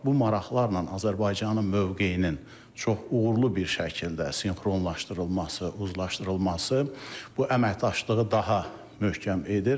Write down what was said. Bu maraqlarla Azərbaycanın mövqeyinin çox uğurlu bir şəkildə sinxronlaşdırılması, uzlaşdırılması bu əməkdaşlığı daha möhkəm edir.